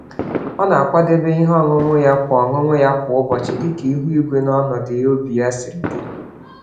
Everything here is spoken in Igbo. Ọ na-akwadebe ihe ọṅụṅụ ya kwa ọṅụṅụ ya kwa ụbọchị dịka ihu igwe na ọnọdụ obi ya si dị.